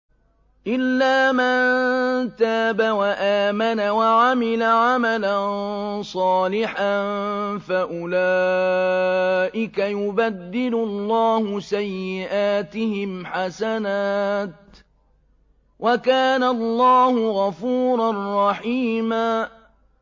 إِلَّا مَن تَابَ وَآمَنَ وَعَمِلَ عَمَلًا صَالِحًا فَأُولَٰئِكَ يُبَدِّلُ اللَّهُ سَيِّئَاتِهِمْ حَسَنَاتٍ ۗ وَكَانَ اللَّهُ غَفُورًا رَّحِيمًا